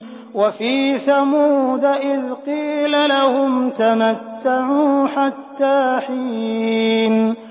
وَفِي ثَمُودَ إِذْ قِيلَ لَهُمْ تَمَتَّعُوا حَتَّىٰ حِينٍ